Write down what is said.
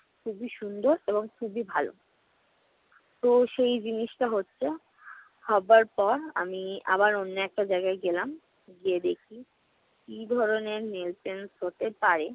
খুবই সুন্দর এবং খুবই ভালো। তো সেই জিনিসটা হচ্ছে। হবার পর আমি আবার অন্য একটা জায়গায় গেলাম, যেয়ে দেখি কি ধরনের nail paints হতে পারে।